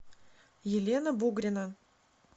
елена бугрина